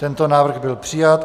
Tento návrh byl přijat.